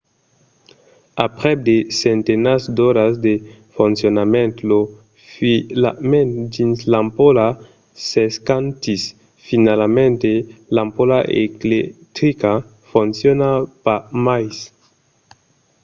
aprèp de centenats d’oras de foncionament lo filament dins l'ampola s'escantís finalament e l'ampola electrica fonciona pas mai